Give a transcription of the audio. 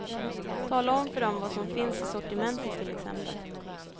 Tala om för dem vad som finns i sortimentet till exempel.